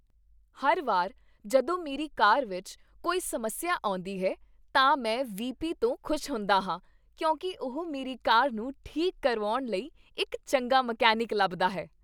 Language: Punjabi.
ਹਰ ਵਾਰ ਜਦੋਂ ਮੇਰੀ ਕਾਰ ਵਿੱਚ ਕੋਈ ਸਮੱਸਿਆ ਆਉਂਦੀ ਹੈ, ਤਾਂ ਮੈਂ ਵੀਪੀ ਤੋਂ ਖੁਸ਼ ਹੁੰਦਾ ਹਾਂ ਕਿਉਂਕਿ ਉਹ ਮੇਰੀ ਕਾਰ ਨੂੰ ਠੀਕ ਕਰਵਾਉਣ ਲਈ ਇੱਕ ਚੰਗਾ ਮਕੈਨਿਕ ਲੱਭਦਾ ਹੈ।